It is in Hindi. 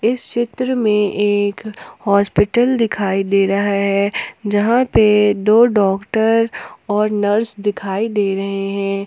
इस चित्र में एक हॉस्पिटल दिखाई दे रहा है यहां पे दो डॉक्टर और नर्स दिखाई दे रहे हैं।